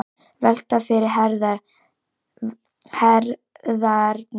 Velta yfir herðarnar.